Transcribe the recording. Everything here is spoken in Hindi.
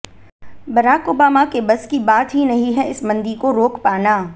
बराक ओबामा के बस की बात ही नही है इस मंदी को रोक पाना